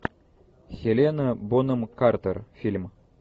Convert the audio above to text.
хелена бонем картер фильм